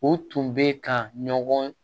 U tun bɛ ka ɲɔgɔn